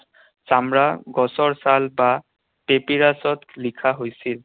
চামৰা, গছৰ ছাল বা লিখা হৈছিল।